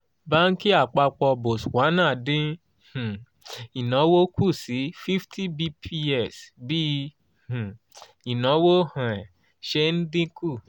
báńkì àpapọ̀ botswana dín um ìnáwó kù sí fifty bps bí um ìnáwó um ṣe ń dín kù